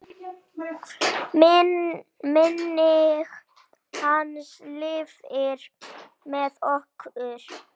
Minning hans lifir með okkur.